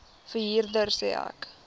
verhuurder sê ek